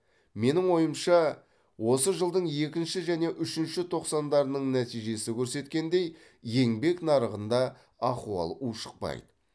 менің ойымша осы жылдың екінші және үшінші тоқсандарының нәтижесі көрсеткендей еңбек нарығында ахуал ушықпайды